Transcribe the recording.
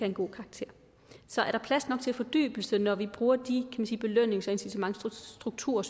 en god karakter så er der plads nok til fordybelse når vi bruger de belønnings og incitamentsstrukturer